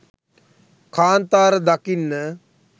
කාන්තාර දකින්න